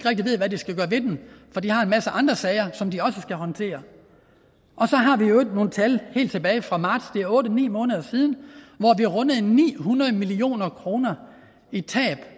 skal gøre ved den for de har en masse andre sager som de også skal håndtere og så har vi i øvrigt nogle tal helt tilbage fra marts det er otte ni måneder siden hvor vi rundede ni hundrede million kroner i tab